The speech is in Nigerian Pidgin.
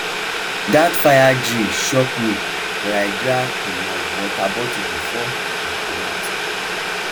that fire drill shock me but i grab um my water bottle before um i comot